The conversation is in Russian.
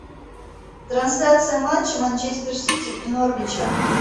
трансляция матча манчестер сити и норвича